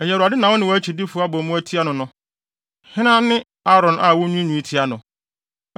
Ɛyɛ Awurade na wo ne wʼakyidifo abɔ mu atia no no. Hena ne Aaron a wunwiinwii tia no?”